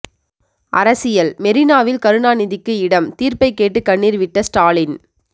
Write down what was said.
அரசியல் மெரினாவில் கருணாநிதிக்கு இடம் தீர்ப்பை கேட்டு கண்ணீர் விட்ட ஸ்டாலின்